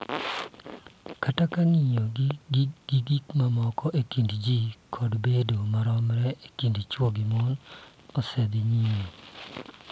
Kata ka ng�iyo gik moko e kind ji kod bedo maromre e kind chwo gi mon osedhi nyime,